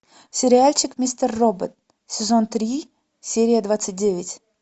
сериальчик мистер робот сезон три серия двадцать девять